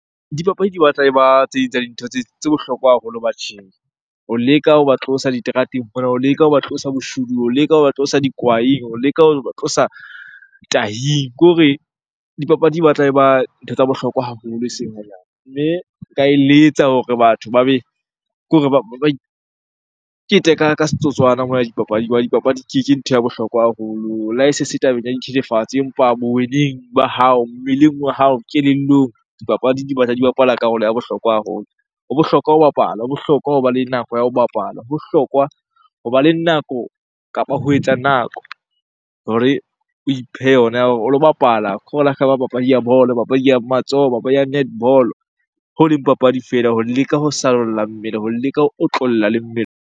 Dipapadi di batla e ba tse ding tsa dintho tse bohlokwa haholo batjheng ho leka hoba tlosa diterateng mona, ho leka hoba tlosa boshodung, ho leka hoba tlosa kwaeng, ho leka hoba tlosa tahing. Kore dipapadi batla e ba ntho tsa bohlokwa haholo eseng hanyane. Mme nka eletsa hore batho ba be, ke hore ke tle ka setotswana mona dipapading hobane dipapadi ke ntho ya bohlokwa haholo. Le ha e se se tabeng ya dithethefatsi empa bo weneng ba hao, mmeleng wa hao kelellong, dipapadi di batla di bapala karolo ya bohlokwa haholo. Ho bohlokwa ho bapala, ho bohlokwa hoba le nako ya ho bapala, ho bohlokwa hoba le nako kapa ho etsa nako hore o iphe yona ya hore o lo bapala. Khore le ha ekaba papadi ya bolo, papadi ya matsoho, papadi ya netball-o. Ho leng papadi fela ho leka ho sallwa mmele, ho leka ho otlolla le mmele.